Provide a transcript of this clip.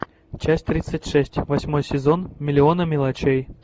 часть тридцать шесть восьмой сезон миллионы мелочей